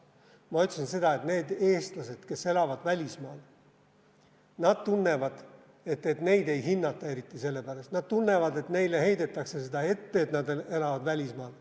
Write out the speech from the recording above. Ma ütlesin, et need eestlased, kes elavad välismaal, tunnevad, et neid ei hinnata eriti, nad tunnevad, et neile heidetakse seda ette, et nad elavad välismaal.